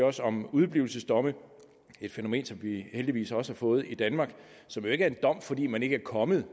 også om udeblivelsesdomme et fænomen som vi heldigvis også har fået i danmark og som jo ikke er en dom fordi man ikke er kommet